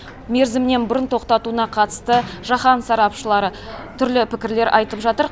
мерзімінен бұрын тоқтатуына қатысты жаһан сарапшылары түрлі пікірлер айтып жатыр